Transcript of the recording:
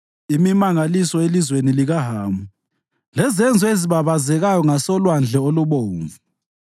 imimangaliso elizweni likaHamu lezenzo ezibabazekayo ngasoLwandle oluBomvu.